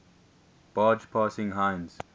barge passing heinz